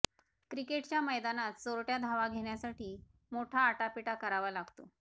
क्रिकेटच्या मैदानात चोरटय़ा धावा घेण्यासाठी मोठा आटापिटा करावा लागतो